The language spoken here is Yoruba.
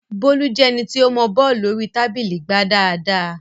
Bólú jẹ́ ẹni tí ó mọọ bọ́ọ̀lù orí tábìlì gbá dáadáa